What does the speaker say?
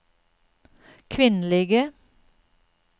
kvinnelige